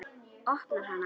Opnar hana.